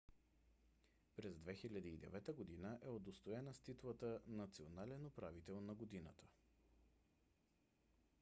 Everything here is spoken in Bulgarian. през 2009 г. е удостоена с титлата национален управител на годината